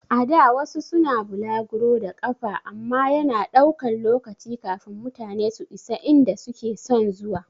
A da wasu suna bulaguro da ƙafa amma yana ɗaukan lokaci kafin mutane su isa inda suke son zuwa